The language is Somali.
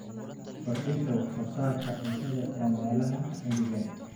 Kordhinta wax soo saarka cuntada ee meelaha engegan.